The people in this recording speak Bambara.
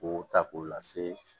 K'o ta k'o lase